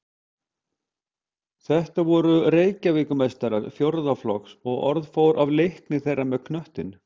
Þetta voru Reykjavíkurmeistarar fjórða flokks og orð fór af leikni þeirra með knöttinn.